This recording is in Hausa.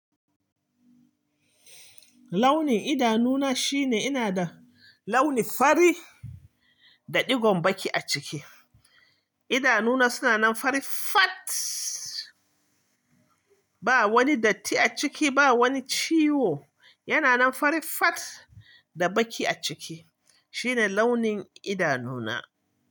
Launin idanu na shine ina da launin fari da digon baqi a ciki. Idanu na suna nan fari fat, ba wani datti a ciki, ba wani ciwo. Yana nan fari fat da baki a ciki. Shine launin idanu na.